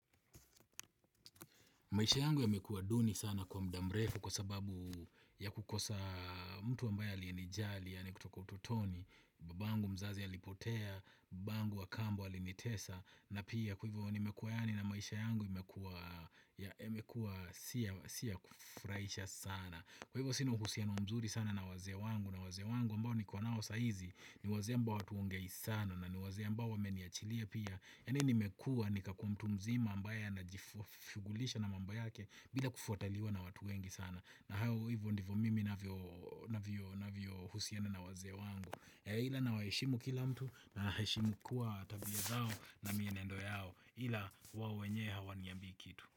Maisha yangu yamekuwa duni sana kwa muda mrefu kwa sababu ya kukosa mtu ambaye aliyenijali yaani kutoka utotoni, babangu mzazi alipotea, baba wangu wa kambo alinitesa na pia kwa hivyo nimekuwa yani na maisha yangu imekuwa yamekuwa si ya kufurahisha sana. Kwa hivyo sina uhusiano mzuri sana na wazee wangu na wazee wangu ambao niko nao sahizi ni wazee ambao hatuongei sana na ni wazee ambao wameniachilia pia yani nimekuwa nikakuwa mtu mzima ambaye anajifu shughulisha na mambo yake bila kufuataliwa na watu wengi sana na hao hivyo ndivyo mimi navyohusiano na wazee wangu ila nawaheshimu kila mtu na heshimu kuwa tabia zao na mienendo yao ila wao wenyewe hawaniambi kitu.